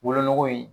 Wolonugu in